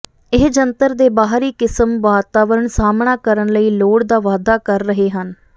ਇਹ ਜੰਤਰ ਦੇ ਬਾਹਰੀ ਕਿਸਮ ਵਾਤਾਵਰਣ ਸਾਹਮਣਾ ਕਰਨ ਲਈ ਲੋੜ ਦਾ ਵਾਧਾ ਕਰ ਰਹੇ ਹਨ